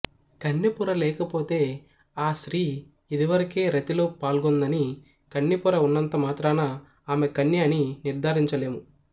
కన్నెపొర లేకపోతే ఆ స్త్రీ ఇదివరకే రతిలో పల్గొందని కన్నెపొర వున్నంత మాత్రాన ఆమె కన్య అని నిర్ధారించలేము